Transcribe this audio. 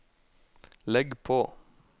legg på